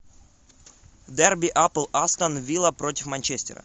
дерби апл астон вилла против манчестера